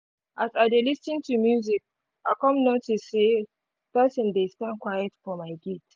as i dey lis ten to music i come notice say person dey stand quiet for my gate